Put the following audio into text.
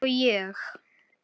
Eins og ég?